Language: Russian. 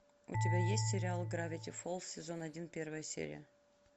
у тебя есть сериал гравити фолз сезон один первая серия